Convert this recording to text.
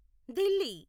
Delhi